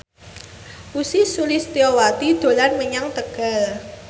Ussy Sulistyawati dolan menyang Tegal